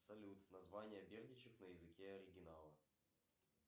салют название бердичев на языке оригинала